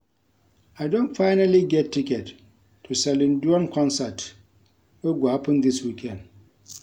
I don finally get ticket to Celine Dion concert wey go happen dis weekend